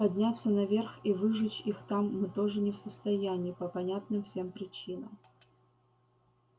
подняться наверх и выжечь их там мы тоже не в состоянии по понятным всем причинам